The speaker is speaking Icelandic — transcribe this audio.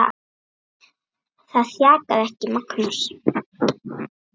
Það þjakaði ekki Magnús.